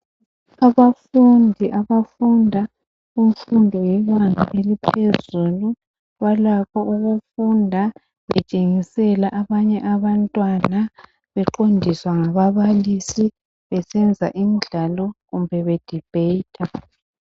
Abafundi abafunda kumfundo yebanga eliphezulu balakho ukufunda betshengisela abanye abantwana beqondiswa ngababalisi, besenza imidlalo kumbe be bedibhetha.